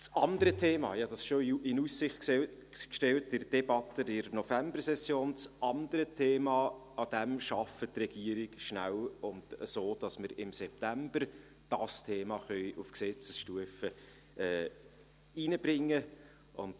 Am anderen Thema – dies hatte ich schon in der Debatte in der Novembersession in Aussicht gestellt – arbeitet die Regierung rasch, sodass wir dieses Thema im September auf Gesetzesstufe werden einbringen können.